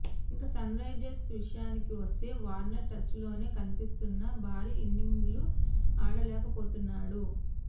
ఇక సన్రైజర్స్ విషయానికి వస్తే వార్నర్ టచ్లోనే కనిపిస్తున్నా భారీ ఇన్నింగ్స్లు ఆడలేకపోతున్నాడు